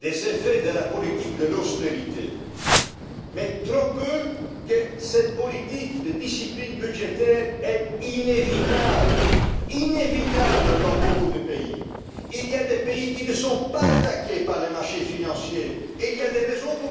des effets de la politique d'austérité, mais j'entends trop peu souvent que cette politique de discipline budgétaire est inévitable dans beaucoup de pays. Il y a des pays qui ne sont pas attaqués par les marchés financiers, et il y a une raison pour